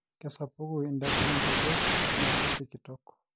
kesapuku idapi o nkejek neeku sikitok